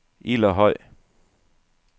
Ilderhøj